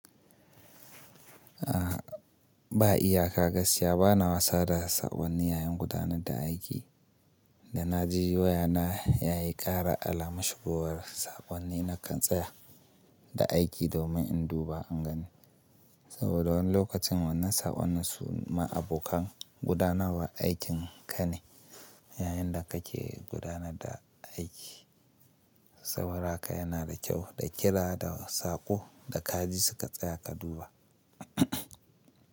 A ba iyaka gaskiya bana wasa da sakonni yayin gudanar da aiki. Da na ji wayana ya yi kara alaman shigowar sakonni na kan tsaya da aiki domin in duba an gani. Saboda wani lokacin wannan saƙonin ni suma abokan gudanarwa aikin ka ne yayin da kake gudanar da aiki. Saboda haka yana da kyau da kira da saƙo da kaji suka tsaya ka duba.